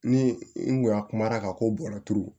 Ni n kun y'a kumara ka ko bɔra turu